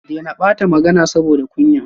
Dena bata magana saboda kunya